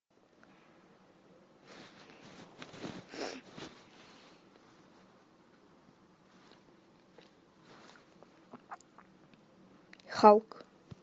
халк